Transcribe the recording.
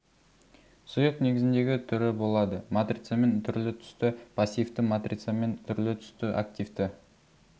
сұйық негізіндегі түрі болады матрицамен түрлі түсті пассивті матрицамен түрлі түсті активті